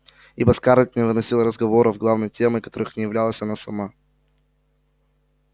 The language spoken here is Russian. ибо скарлетт не выносила разговоров главной темой которых не являлась она сама